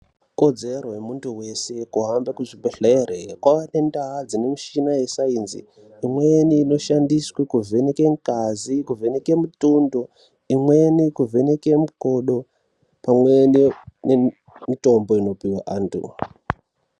Kodzero yemuntu wese kuhambe kuzvibhehlere. Kwava nendaa dzine mushina wesainzi, imweni inoshandiswe kuvheneke ngazi, kuvheneke mutundO, imweni kuvheneke mukodo pamwe nemitombo inopiwa antu.